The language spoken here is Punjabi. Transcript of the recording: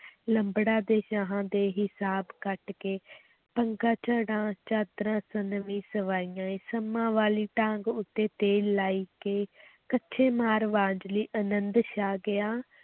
ਲੰਬੜਾਂ ਤੇ ਸ਼ਾਹਾਂ ਦੇ ਹਿਸਾਬ ਕੱਟ ਕੇ ਪੰਗਾ ਝੜਾਂ ਚਾਦਰਾਂ ਸੰਮਾਂ ਵਾਲੀ ਡਾਂਗ ਉੱਤੇ ਤੇਲ ਲਾਏ ਕੇ ਕੱਛੇ ਮਾਰ ਵੰਝਲੀ ਅਨੰਦ ਛਾ ਗਿਆ,